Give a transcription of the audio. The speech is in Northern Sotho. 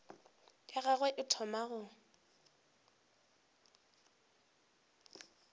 ya gagwe e thoma go